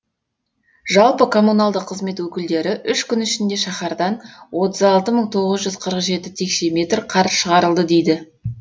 жалпы коммуналдық қызмет өкілдері үш күн ішінде шаһардан отыз алты мың тоғыз жүз қырық жеті текше метр қар шығарылды дейді